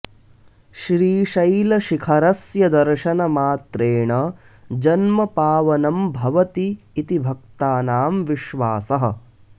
श्रीशैलशिखरस्य दर्शनमात्रेण जन्म पावनं भवति इति भक्तानां विश्वासः